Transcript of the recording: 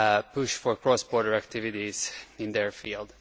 push for cross border activities in their field.